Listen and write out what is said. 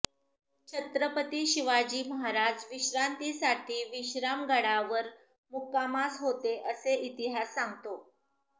छत्रपती शिवाजी महाराज विश्रांतीसाठी विश्रामगडावर मुक्कामास होते असे इतिहास सांगतो